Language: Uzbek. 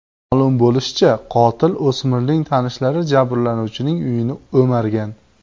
Ma’lum bo‘lishicha, qotil o‘smirning tanishlari jabrlanuvchining uyini o‘margan.